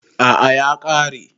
A'a ya ƙare